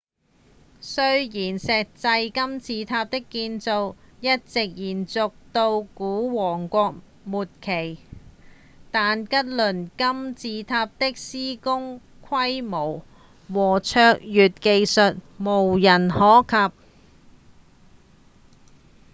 雖然石製金字塔的建造一直延續到古王國末期但吉薩金字塔的施工規模和卓越技術無人可及